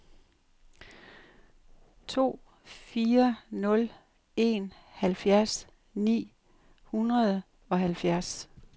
to fire nul en halvfjerds ni hundrede og halvfjerds